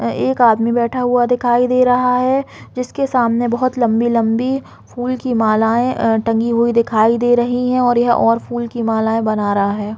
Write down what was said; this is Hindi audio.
यहाँ एक आदमी बैठा हुआ दिखाई दे रहा है जिसके सामने बोहत लम्बी-लम्बी फूल की मालाये अ टंगी हुई दिखाई दे रही है और यह और फूल की मालाएं बना रहा है।